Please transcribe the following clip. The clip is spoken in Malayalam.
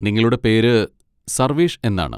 നിങ്ങളുടെ പേര് സർവേഷ് എന്നാണ്.